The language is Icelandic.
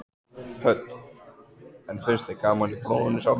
Hödd: En finnst þér gaman í prófinu sjálfu?